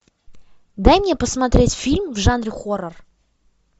дай мне посмотреть фильм в жанре хоррор